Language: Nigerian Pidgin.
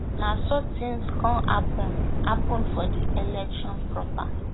na so tins come happun happun for di election proper